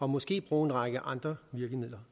måske bruge en række andre virkemidler